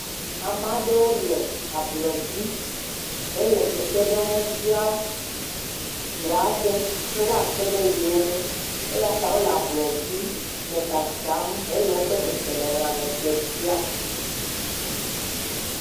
amaɖewo le ablɔdzi hele kpekpeɖeŋu bia ʋu aɖe be woa kpeɖe yewoŋu eyata wóle ablɔdzi le wóƒe seselelãme ɖe fia